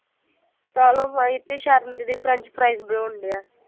ਕਾਲੋ ਮਾਈ ਅਤੇ ਸ਼ਰਣ ਦੀਦੀ french fries ਬਣਾਉਣ ਡੇ ਆ